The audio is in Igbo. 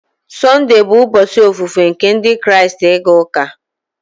Sunday bụ ụbọchị ofufe nke Ndị Kraịst, ịga ụka.